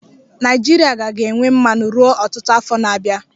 Naịjirịa ka ga-enwe mmanụ ruo ọtụtụ afọ na-abịa.